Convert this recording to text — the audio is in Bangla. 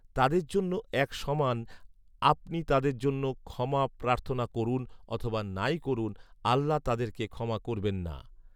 তাদের জন্য এক সমান আপনি তাদের জন্য ক্ষমা প্রার্থনা করুন অথবা নাই করুন, আল্লাহ্‌ তাদেরকে ক্ষমা করবেন না